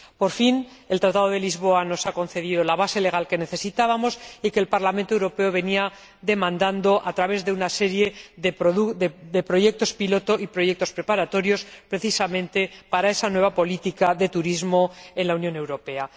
Por fin, el Tratado de Lisboa nos ha concedido la base legal que necesitábamos y que el Parlamento Europeo venía exigiendo a través de una serie de proyectos piloto y proyectos preparatorios, precisamente, para esa nueva política de turismo en la Unión Europea.